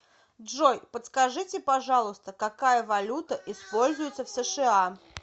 джой подскажите пожалуйста какая валюта используется в сша